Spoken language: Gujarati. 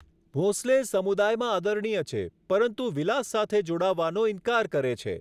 ભોંસલે સમુદાયમાં આદરણીય છે, પરંતુ વિલાસ સાથે જોડાવાનો ઇનકાર કરે છે.